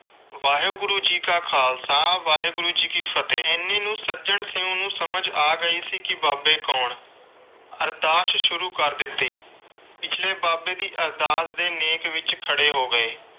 ਵਾਹਿਗੁਰੂ ਜੀ ਕਾ ਖ਼ਾਲਸਾ ਵਾਹਿਗੁਰੂ ਜੀ ਕੀ ਫਤਹਿ। ਇੰਨੇ ਨੂੰ ਸੱਜਣ ਸਿੰਘ ਨੂੰ ਸਮਝ ਗਈ ਸੀ ਕਿ ਬਾਬੇ ਕੌਣ। ਅਰਦਾਸ ਸ਼ੁਰੂ ਕਰ ਦਿੱਤੀ। ਪਿਛਲੇ ਬਾਬੇ ਦੀ ਅਰਦਾਸ ਦੇ ਨੇਕ ਵਿਚ ਖੜੇ ਹੋ ਗਏ।